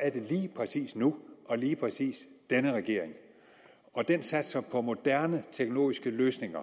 er det lige præcis nu og lige præcis denne regering den satser på moderne teknologiske løsninger